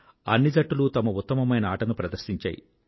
అన్ని జట్టులూ తమ ఉత్తమమైన ఆటను ప్రదర్శించాయి